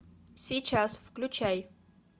сейчас включай